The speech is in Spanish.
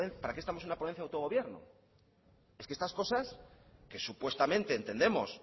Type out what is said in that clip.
para qué estamos en una ponencia de autogobierno es que estas cosas que supuestamente entendemos